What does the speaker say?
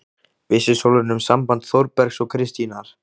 Vissi Sólrún um samband Þórbergs og Kristínar?